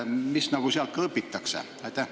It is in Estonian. Mida sealt õpitakse?